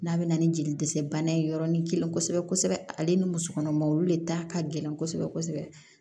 N'a bɛ na ni jeli dɛsɛ bana ye yɔrɔnin kelen kosɛbɛ kosɛbɛ ale ni musokɔnɔmaw olu de da ka gɛlɛn kosɛbɛ kosɛbɛ